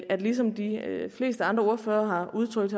at ligesom de fleste andre ordførere har udtrykt